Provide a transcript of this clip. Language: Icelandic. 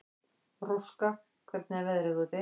Róska, hvernig er veðrið úti?